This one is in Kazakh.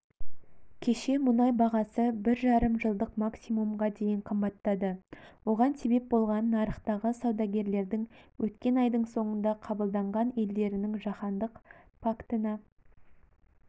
кеше мұнай бағасы бір жарым жылдық максимумға дейін қымбаттады оған себеп болған нарықтағы саудагерлердің өткен айдың соңында қабылданған елдерінің жаһандық пактына